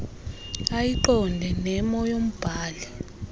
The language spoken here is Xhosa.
ayiqonde nemo yombhali